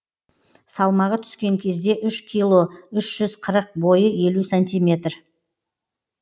салмағы түскен кезде үш кило үш жүз қырық бойы елу сантиметр